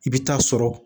I bɛ taa sɔrɔ